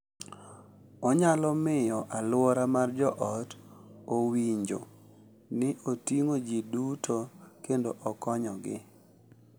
Onyalo miyo alwora mar joot owinjo ni oting’o ji duto kendo konyogi.